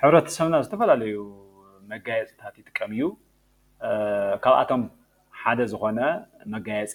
ሕብረተሰብና ዝተፈላለዩ መጋየፅታት ይጥቀም እዩ። ካብአቶም ሓደ ዝኮነ መጋየፂ